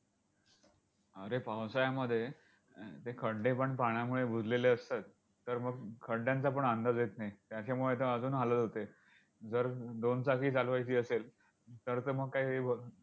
अरे पावसाळ्यामध्ये अं ते खड्डेपण पाण्यामुळे बुजलेले असतात. तर मग खड्ड्यांचा पण अंदाज येत नाही. त्याच्यामुळे तर अजून हालत होते. जर दोन चाकी चालवायची असेल, तर तर मग काही ब